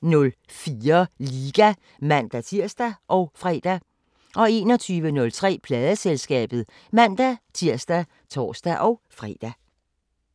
18:04: Liga (man-tir og fre) 21:03: Pladeselskabet (man-tir og tor-fre)